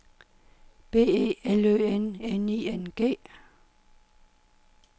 B E L Ø N N I N G